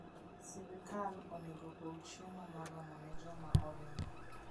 Sirkal onego opog chiemo moromo ne joma oringo.